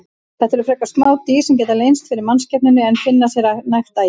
Þetta eru frekar smá dýr sem geta leynst fyrir mannskepnunni en finna sér nægt æti.